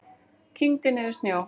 Kyngdi niður snjó.